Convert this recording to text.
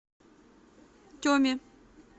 теме